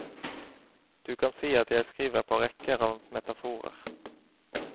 Du kan si at jeg skriver på rekker av metaforer.